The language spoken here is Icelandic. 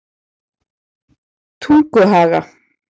Tunguhaga